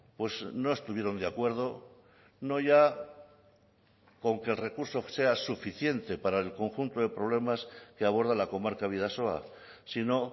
pues no estuvieron de acuerdo no ya con que el recurso sea suficiente para el conjunto de problemas que aborda la comarca bidasoa sino